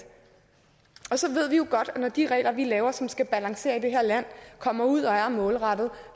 så ved vi jo godt at når de regler vi laver som skal balancere i det her land kommer ud og er målrettet